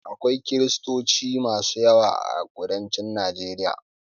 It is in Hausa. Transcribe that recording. Akwai kiristoci masu yawa a kudancin Najeriya.